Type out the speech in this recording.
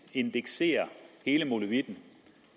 indekserer hele molevitten